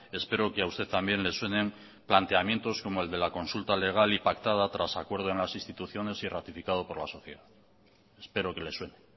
espero que a usted también le suenen planteamientos como el de la consulta legal y pactada tras acuerdo en las instituciones y ratificado por la sociedad espero que le suene